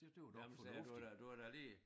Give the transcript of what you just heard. Det var det var da fornuftigt